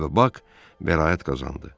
Və Bak bəraət qazandı.